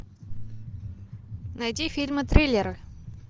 найди фильмы триллеры